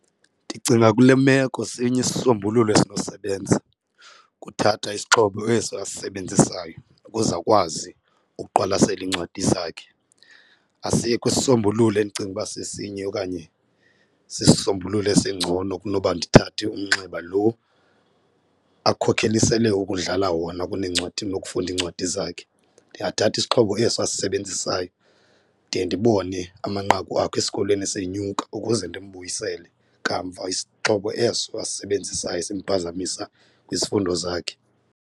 Ndicinga kule meko sinye isisombululo esinosebenza kuthatha isixhobo esi asisebenzisayo ukuze akwazi ukuqwalasela iincwadi zakhe, asikho isisombululo endicinga ukuba sesinye okanye sisisombululo esingcono kunoba ndithathe umnxeba lo akhokelisele ukudlala wona kuneencwadi nokufunda iincwadi zakhe. Ndingathatha isixhobo esi asisebenzisayo de ndibone amanqaku akhe esikolweni esenyuka ukuze ndimbuyisele kamva isixhobo eso asisebenzisayo simphazamisa kwizifundo zakhe.